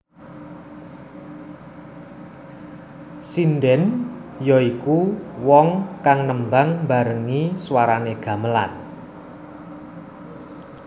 Sindhèn ya iku wong kang nembang mbarengi swaranè gamelan